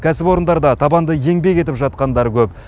кәсіпорындарда табанды еңбек етіп жатқандар көп